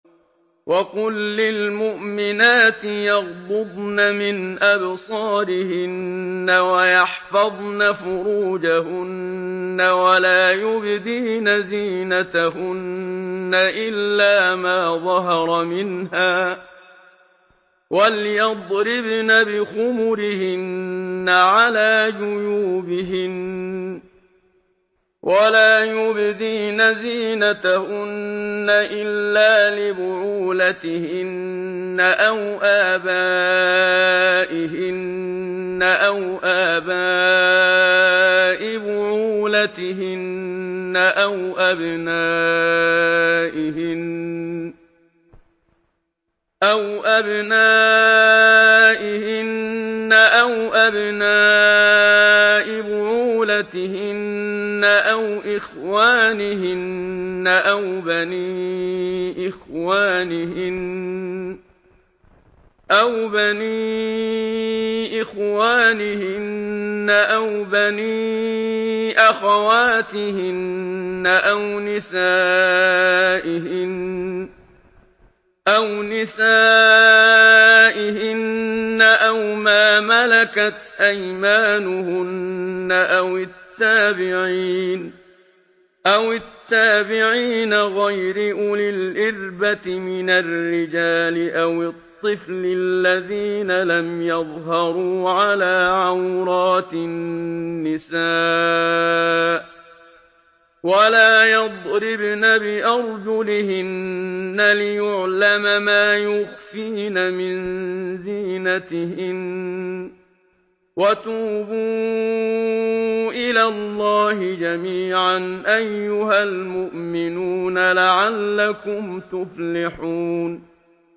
وَقُل لِّلْمُؤْمِنَاتِ يَغْضُضْنَ مِنْ أَبْصَارِهِنَّ وَيَحْفَظْنَ فُرُوجَهُنَّ وَلَا يُبْدِينَ زِينَتَهُنَّ إِلَّا مَا ظَهَرَ مِنْهَا ۖ وَلْيَضْرِبْنَ بِخُمُرِهِنَّ عَلَىٰ جُيُوبِهِنَّ ۖ وَلَا يُبْدِينَ زِينَتَهُنَّ إِلَّا لِبُعُولَتِهِنَّ أَوْ آبَائِهِنَّ أَوْ آبَاءِ بُعُولَتِهِنَّ أَوْ أَبْنَائِهِنَّ أَوْ أَبْنَاءِ بُعُولَتِهِنَّ أَوْ إِخْوَانِهِنَّ أَوْ بَنِي إِخْوَانِهِنَّ أَوْ بَنِي أَخَوَاتِهِنَّ أَوْ نِسَائِهِنَّ أَوْ مَا مَلَكَتْ أَيْمَانُهُنَّ أَوِ التَّابِعِينَ غَيْرِ أُولِي الْإِرْبَةِ مِنَ الرِّجَالِ أَوِ الطِّفْلِ الَّذِينَ لَمْ يَظْهَرُوا عَلَىٰ عَوْرَاتِ النِّسَاءِ ۖ وَلَا يَضْرِبْنَ بِأَرْجُلِهِنَّ لِيُعْلَمَ مَا يُخْفِينَ مِن زِينَتِهِنَّ ۚ وَتُوبُوا إِلَى اللَّهِ جَمِيعًا أَيُّهَ الْمُؤْمِنُونَ لَعَلَّكُمْ تُفْلِحُونَ